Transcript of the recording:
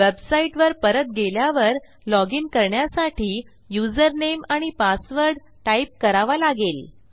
वेबसाईटवर परत गेल्यावर लॉजिन करण्यासाठी युजरनेम आणि पासवर्ड टाईप करावा लागेल